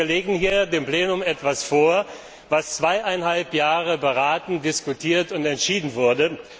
Das heißt, wir legen hier dem Plenum etwas vor, das zweieinhalb Jahre beraten, diskutiert und entschieden wurde.